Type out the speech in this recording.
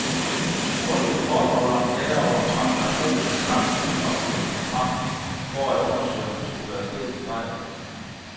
Kun hvis kortholderen klager over en transaktion, kan banken finde oplysningerne frem for at undersøge, om der skulle være sket en fejl.